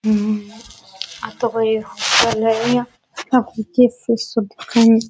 आ तो कोई इया यहाँ पर चिप्स उप्स सब दिखे है।